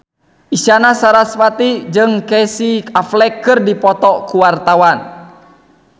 Isyana Sarasvati jeung Casey Affleck keur dipoto ku wartawan